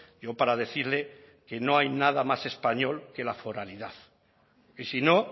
yo para decirle que no hay nada más español que la foralidad y si no